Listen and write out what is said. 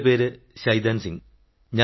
എന്റെ പേര് ശൈതാൻ സിംഗ്